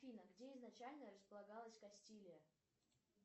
афина где изначально располагалась кастилия